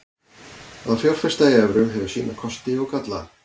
Að fjárfesta í evrum hefur sína kosti og galla.